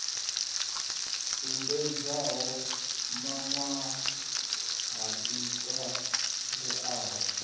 sumbedzaho miṅwaha i ṱo ḓeaho